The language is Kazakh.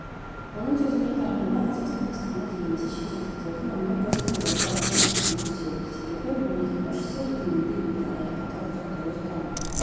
оның сөзіне қарағанда қазақстан астана дегенде шетелдіктердің ойына бірден назарбаевтың есімі түседі себебі мемлекет басшысы егеменді елді аяққа тұрғызып дұрыс даму